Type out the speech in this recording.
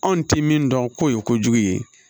Anw tɛ min dɔn k'o ye kojugu ye